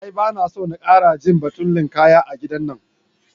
A'a bana so na ƙara jin batun linƙaya a gidan nan.